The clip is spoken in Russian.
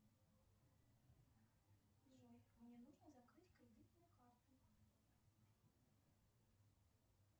джой мне нужно закрыть кредитную карту